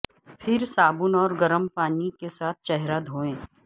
پھر صابن اور گرم پانی کے ساتھ چہرہ دھویں